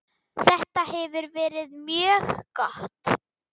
Þetta hefur verið mjög gott.